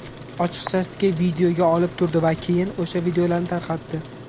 Ochiqchasiga videoga olib turdi va keyin o‘sha videolarni tarqatdi.